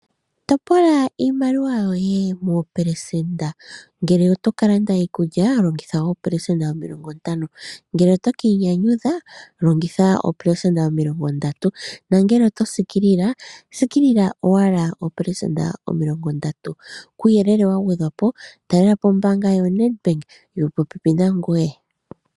Toopola iimaliwa yoye moopelesenda. Ngele oto ka landa iikulya, longitha oopelesenda omilongo ntano, ngele oto ka inyanyudha, longitha oopelesenda omilongo ndatu, nangele oto siikilile, siikilila owala oopelesenda omilongo ndatu. Kuuyelele wa gwedhwa po talelapo ombaanga yo Nedbank, yo popepi nangoye.